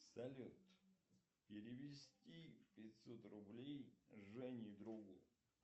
салют перевести пятьсот рублей жене другу